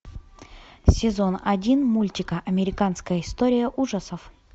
сезон один мультика американская история ужасов